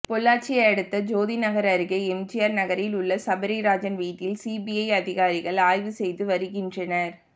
பொள்ளாச்சி அடுத்த ஜோதி நகர் அருகே எம்ஜிஆர் நகரில் உள்ள சபரிராஜன் வீட்டில் சிபிஐ அதிகாரிகள் ஆய்வு செய்து வருகின்றனர்